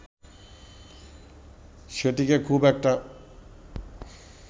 সেটিকে খুব একটা